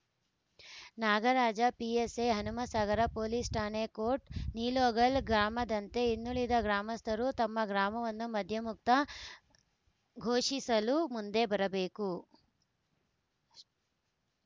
Nagaraja PSI Hanumasagar police ಠಾಣೆ ಕೋಟ್‌ ನಿಲೋಗಲ್‌ ಗ್ರಾಮದಂತೆ ಇನ್ನುಳಿದ ಗ್ರಾಮಸ್ಥರೂ ತಮ್ಮ ಗ್ರಾಮವನ್ನು ಮದ್ಯಮುಕ್ತ ಘೋಷಿಸಲು ಮುಂದೆ ಬರಬೇಕು